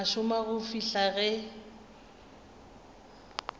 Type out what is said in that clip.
a šoma go fihla ge